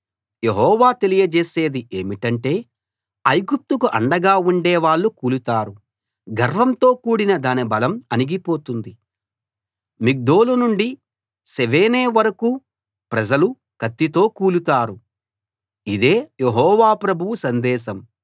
యెహోవా తెలియజేసేది ఏమిటంటే ఐగుప్తుకు అండగా ఉండే వాళ్ళు కూలుతారు గర్వంతో కూడిన దాని బలం అణగిపోతుంది మిగ్దోలు నుండి సెవేనే వరకూ ప్రజలు కత్తితో కూలుతారు ఇదే యెహోవా ప్రభువు సందేశం